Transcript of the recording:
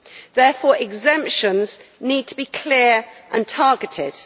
Therefore, exemptions need to be clear and targeted.